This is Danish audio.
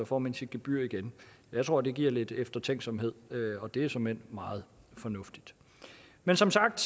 får man sit gebyr igen jeg tror at det giver lidt eftertænksomhed og det er såmænd meget fornuftigt men som sagt